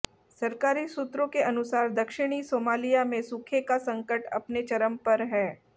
सरकारी सूत्रों के अनुसार दक्षिणी सोमालिया में सूखे का संकट अपने चरम पर है